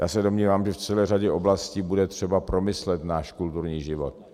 Já se domnívám, že v celé řadě oblastí bude třeba promyslet náš kulturní život.